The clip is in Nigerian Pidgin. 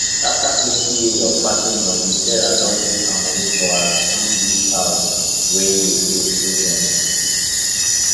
after plenty years of packing money sarah don put her money for her sweet wish house wey dey face ocean